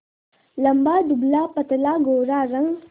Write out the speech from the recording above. लंबा दुबलापतला गोरा रंग